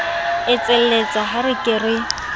etselletsa ha ke re ke